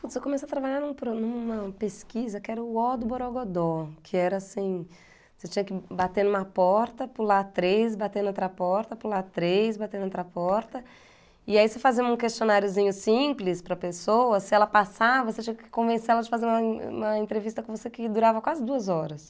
Puts, eu comecei a trabalhar num pro numa pesquisa que era o O do Borogodó, que era assim, você tinha que bater numa porta, pular três, bater em outra porta, pular três, bater noutra porta, e aí você fazia um questionariozinho simples para pessoa, se ela passava, você tinha que convencer ela de fazer uma uma entrevista com você que durava quase duas horas.